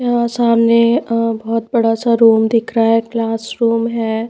यहां सामने बहोत बड़ा सा रूम दिख रहा है क्लासरूम है।